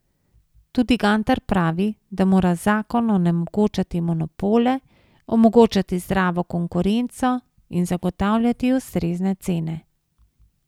Tudi Gantar pravi, da mora zakon onemogočati monopole, omogočati zdravo konkurenco in zagotavljati ustrezne cene.